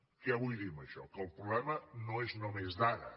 què vull dir amb això que el problema no és només d’ara